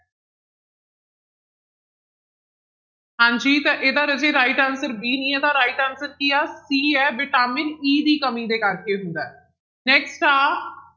ਹਾਂਜੀ ਤਾਂ ਇਹਦਾ ਰਾਜੇ right answer b ਨੀ ਆ ਤਾਂ right answer ਕੀ ਆ c ਹੈ ਵਿਟਾਮਿਨ e ਦੀ ਕਮੀ ਦੇ ਕਰਕੇ ਹੁੰਦਾ ਹੈ next ਆ